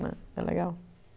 né. É legal